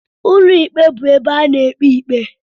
Ụlọ ikpe bụ ebe a na-ekpe ikpe.